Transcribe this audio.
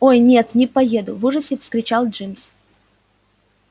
ой нет не поеду в ужасе вскричал джимс